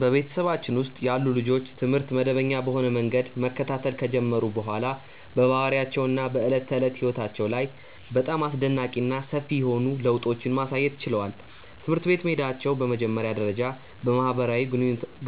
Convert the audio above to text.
በቤተሰባችን ውስጥ ያሉ ልጆች ትምህርት መደበኛ በሆነ መንገድ መከታተል ከጀመሩ በኋላ በባህሪያቸው እና በዕለት ተዕለት ሕይወታቸው ላይ በጣም አስደናቂ እና ሰፊ የሆኑ ለውጦችን ማሳየት ችለዋል። ትምህርት ቤት መሄዳቸው በመጀመሪያ ደረጃ በማህበራዊ